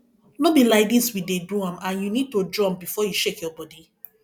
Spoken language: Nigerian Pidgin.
no be like dis we dey do am and you need to jump before you shake your body